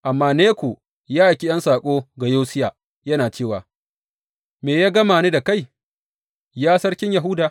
Amma Neko ya aiki ’yan saƙo ga Yosiya, yana cewa, Me ya gama ni da kai, ya Sarkin Yahuda?